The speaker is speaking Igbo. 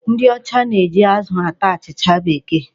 Ndị ọcha na-eji azụ ata achịcha Bekee.